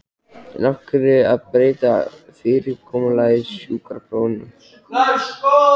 En af hverju að breyta fyrirkomulagi sjúkraprófanna?